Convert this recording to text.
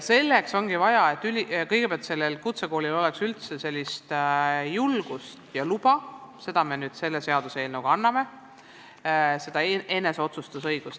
Selleks ongi vaja, et kutsekoolil oleks kõigepealt julgust ja tal oleks luba – selle me nüüd selle seaduseelnõuga anname – kasutada eneseotsustusõigust.